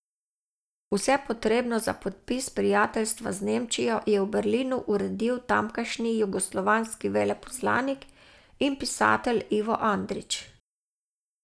Vse potrebno za podpis prijateljstva z Nemčijo je v Berlinu uredil tamkajšnji jugoslovanski veleposlanik in pisatelj Ivo Andrić.